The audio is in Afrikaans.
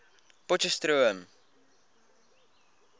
potcheftsroom